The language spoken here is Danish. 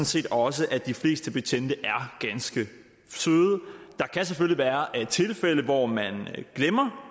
set også at de fleste betjente er ganske søde der kan selvfølgelig være tilfælde hvor man glemmer